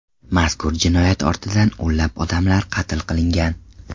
Mazkur jinoyat ortidan o‘nlab odamlar qatl qilingan.